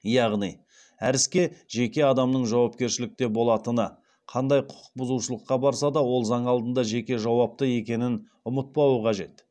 яғни әр іске жеке адамның жауапкершілікте болатыны қандай құқық бұзушылыққа барса да ол заң алдында жеке жауапты екенін ұмытпауы қажет